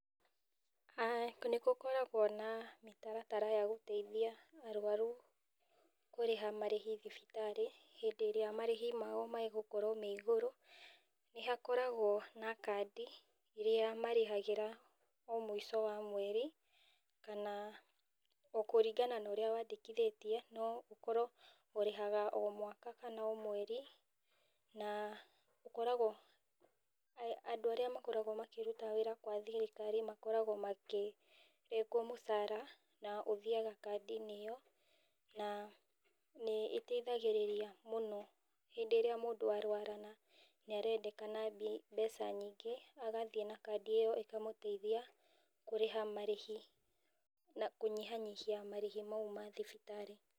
Nĩgũkoragwo na mĩtaratara ya gũteithia arwarũ kũrĩha marĩhi thibitarĩ, hĩndĩ ĩrĩa marĩhĩ mao megũkorwo me igũrũ nĩ hakokagwo na kandi ĩrĩa marĩhagĩra o mũico wa mweri kana, o kũringana na ũrĩa wandĩkithetie no ũkorwo ũrĩhaga o mwaka kana o mweri, na ũkoragwo andũ arĩa makoragwo makĩruta wĩra kwa thirikari makoragwo makĩrengwo mũchara na ũthiaga kandi-inĩ ĩyo na nĩ ĩteithagĩrĩria mũno hĩndĩ íría mũndũ arwara, na nĩ arendekana mbeca nyĩngĩ agathĩe na kandi ĩyo ĩkamũteithia kũrĩha marĩhi na kũnyihanyihia marĩhĩ mau ma thibitarĩ.